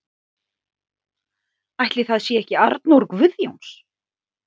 Ætli það sé ekki Arnór Guðjóns.